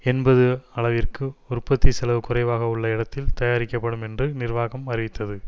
எண்பது அளவிற்கு உற்பத்திச்செலவு குறைவாக உள்ள இடத்தில் தயாரிக்கப்படும் என்று நிர்வாகம் அறிவித்தது